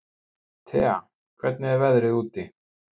Tea, hvernig er veðrið úti?